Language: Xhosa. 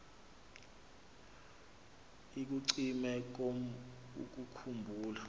ikucime kum ukukhumbula